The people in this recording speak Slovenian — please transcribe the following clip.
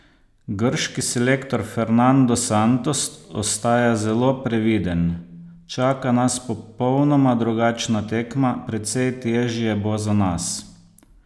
Grški selektor Fernando Santos ostaja zelo previden: "Čaka nas popolnoma drugačna tekma, precej težje bo za nas.